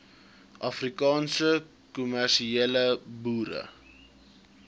afrikaanse kommersiële boere